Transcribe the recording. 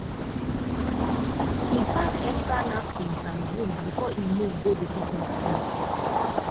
e pack extra napkins and drinks before e move go the picnic place